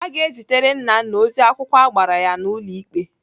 Aga ezitere Nnanna ozi akwụkwọ agbara ya n'ụlọ ikpe.